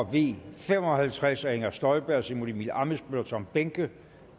v fem og halvtreds af inger støjberg simon emil ammitzbøll og tom behnke